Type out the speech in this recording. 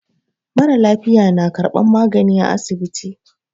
Mara lafiya na karban magani a asibiti.